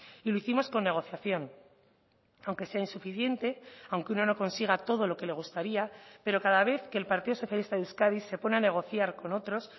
y lo hicimos con negociación aunque sea insuficiente aunque uno no consiga todo lo que le gustaría pero cada vez que el partido socialista de euskadi se pone a negociar con otros